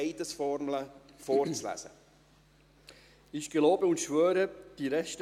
Zuerst kommen wir zur Vereidigung eines neuen Mitglieds des Grossen Rates.